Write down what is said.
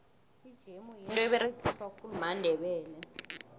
ijemu yinto eberegiswa khulu mandebele